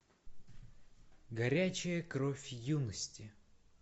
горячая кровь юности